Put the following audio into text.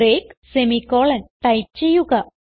break semicolon type ചെയ്യുക